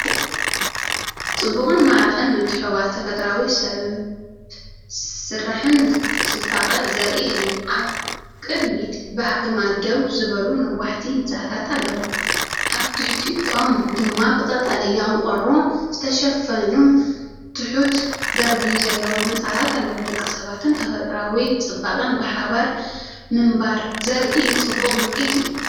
ጽቡቕን ማራኺን ምትሕውዋስ ተፈጥሮኣውን ሰብ ዝሰርሖን ጽባቐ ዘርኢ እዩ። ኣብ ቅድሚት ብኣግማድ ደው ዝበሉ ነዋሕቲ ህንጻታት ኣለዉ፣ ኣብ ትሕቲኦም ድማ ብቐጠልያ ቆርቆሮ ዝተሸፈኑ ትሑት ደርቢ ዘለዎም ህንጻታት ኣለዉ። ደቂ ሰባትን ተፈጥሮኣዊ ጽባቐን ብሓባር ምንባር ዘርኢ ጽቡቕ ምርኢት እዩ።